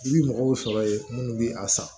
I bi mɔgɔw sɔrɔ ye minnu bɛ a san